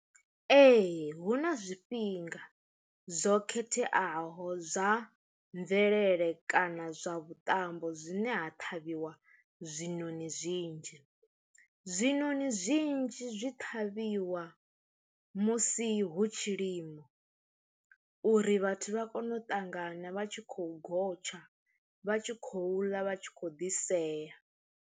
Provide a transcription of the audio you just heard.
Ee hu na zwifhinga zwo khetheaho zwa mvelele kana zwa vhuṱambo zwine ha ṱhavhiwa zwinoni zwinzhi, zwinoni zwinzhi zwi ṱhavhiwa musi hu tshilimo uri vhathu vha kone u ṱangana vha tshi khou gotsha vha tshi khou ḽa vha tshi khou ḓi sea.